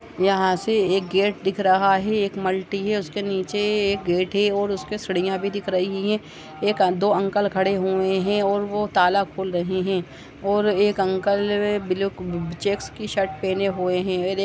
यहाँ से एक गेट दिख रहा है एक मल्टी है उसके नीचे ए एक गेट है और उसके सीढियाँ भी दिख रही हैं एक दो अंकल खडे हुऐ है और वो ताला खोल रहे हैं और एक अंकल ल ब्लू चेकस की शर्ट पहने हुए हैं ।